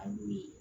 A b'o ye